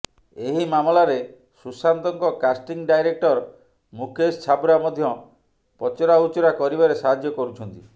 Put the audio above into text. ଏହି ମାମଲାରେ ସୁଶାନ୍ତଙ୍କ କାଷ୍ଟିଂ ଡାଇରେକ୍ଟର ମୁକେଶ ଛାବ୍ରା ମଧ୍ୟ ପଚରାଉଚୁରା କରିବାରେ ସାହାଯ୍ୟ କରୁଛନ୍ତି